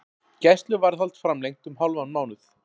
Gæsluvarðhald framlengt um hálfan mánuð